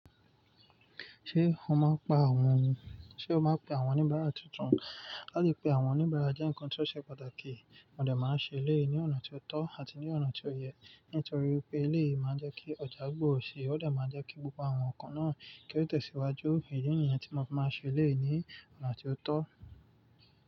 Ṣé o máa pa àwọn, ṣe o máa pe àwọn oníbàárà tuntun? Láti pe àwọn oníbàárà jẹ́ ǹkan tó ṣe pàtàkì. Wọn òdẹ̀ máa ń ṣe lẹ́ẹ̀ ní ọ̀nà tó tọ́ àti ní ọ̀nà tó yẹ. Nítorí pé eléyìí máa ń jẹ́ kí ọ̀já gbòrò sí i, ó dà máa jẹ́ kí gbogbo àwọn nǹkan náà kí ó tẹ̀síwájú. Èyí ni ẹ̀yàn tí mọ fi máa ń ṣe élẹ́ẹ̀ ní ọ̀nà tó tọ́